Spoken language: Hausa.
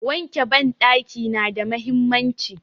Wanke banɗaki nada mahimmanci.